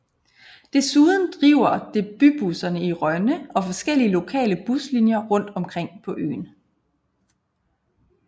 Desuden driver det bybusserne i Rønne og forskellige lokale buslinjer rundt omkring på øen